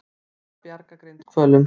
Reyna að bjarga grindhvölum